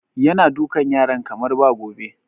Yana dukan yaran kamar ba gobe